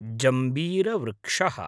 जम्बीरवृक्षः